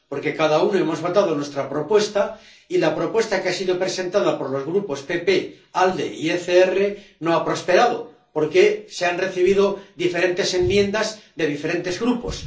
Porque cada uno hemos votado nuestra propuesta y la propuesta que ha sido presentada por los Grupos PPE, ALDE y ECR no ha prosperado, porque se han recibido diferentes enmiendas de diferentes Grupos.